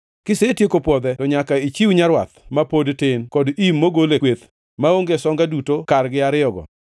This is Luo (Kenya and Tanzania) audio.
Kisetieko pwodhe to nyaka ichiw nyarwath ma pod tin kod im mogol e kweth, maonge songa duto kargi ariyogo.